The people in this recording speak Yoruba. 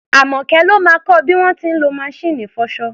Àmọ́kẹ́ ló máa kọ bí wọ́n ti ń lọ maṣíìnì ìfọṣọ.